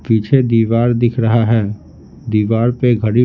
पीछे दीवार दिख रहा है दीवार पे घड़ी--